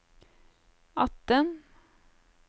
atten